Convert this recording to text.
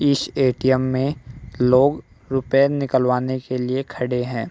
इस ए_टी_एम में लोग रुपये निकलवाने के लिए खड़े हैं।